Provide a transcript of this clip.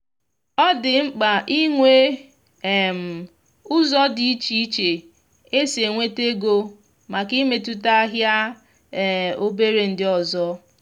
ọ dị mma ịnwe um ụzọ dị iche iche esi enweta ego màkà imetụta ahịa um obere ndị ọzọ